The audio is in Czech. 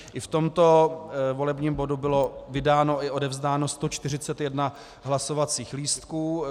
I v tomto volebním bodu bylo vydáno i odevzdáno 141 hlasovacích lístků.